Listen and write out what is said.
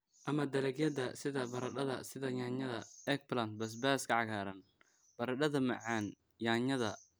ama dalagyada sida baradhada sida yaanyada, eggplant, basbaaska cagaaran, baradhada macaan, yaanyada